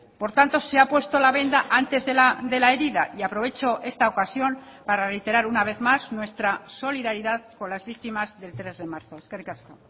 por tanto se ha puesto la venda antes de la herida y aprovecho esta ocasión para reiterar una vez más nuestra solidaridad con las víctimas del tres de marzo eskerrik asko